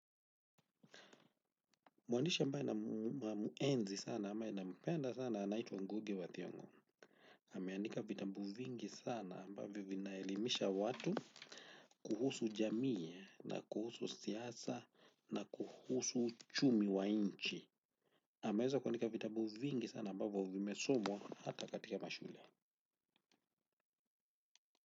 Mwandish ambaye namuenzi sana ama nampenda sana anaitwa Ngugi wa Thiongo. Ameandika vitabu vingi sana ambavyo vinaelimisha watu kuhusu jamii na kuhusu siasa na kuhusu uchumi wa nchi. Ameweza kuandika vitabu vingi sana ambavyo vimesomwa hata katika mashule.